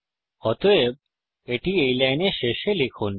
অতএব এটি এই লাইনের শেষে লিখুন